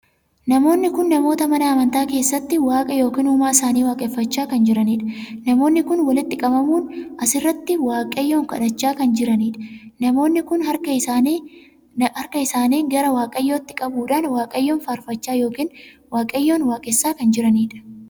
Namoonni kun namoota mana amantaa keessatti waaqa ykn uumaa isaanii waaqeffachaa kan jiraniidha. Namoonni kun walitti qabamuun sirriitti waaqayyoon kadhachaa kan jiraniidha. Namoonni kun harka isaanii gara waaqayyootti qabuudhaan waaqayyoon faarfachaa ykn waaqayyoon waaqessaa kan jiraniidha.